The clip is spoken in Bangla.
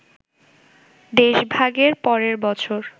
দেশভাগের পরের বছর